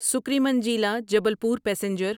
سکریمنجیلا Jabalpur passenger